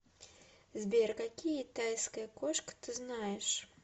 сбер какие тайская кошка ты знаешь